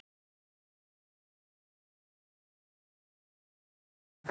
Kristján: Hvað er svo að segja af þróun eldgossins síðasta sólarhringinn?